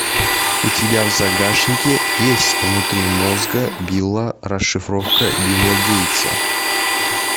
у тебя в загашнике есть внутри мозга билла расшифровка билла гейтса